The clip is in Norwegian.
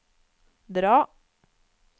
dra